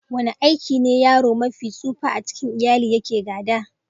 Wani aiki ne yaro mafi tsufa a cikin iyali yake gada?